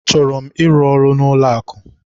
Achọrọ m ịrụ n'ụlọakụ.